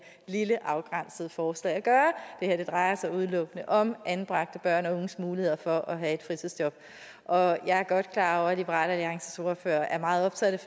lille afgrænsede forslag at gøre det her drejer sig udelukkende om anbragte børn og unges muligheder for at have et fritidsjob og jeg er godt klar over at liberal alliances ordfører er meget optaget af